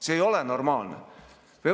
See ei ole normaalne.